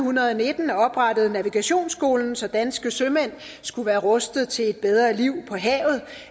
nitten oprettede navigationsskolen så danske sømand skulle være rustet til et bedre liv på havet